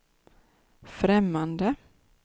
främmande